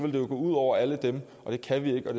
jo gå ud over alle dem det kan vi ikke og